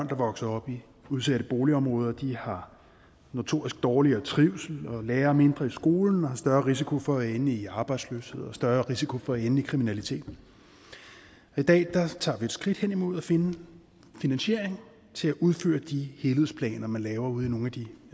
der vokser op i udsatte boligområder har notorisk dårligere trivsel og lærer mindre i skolen og har større risiko for at ende i arbejdsløshed og større risiko for at ende i kriminalitet i dag tager vi et skridt hen imod at finde finansieringen til at udføre de helhedsplaner man laver ude i nogle af de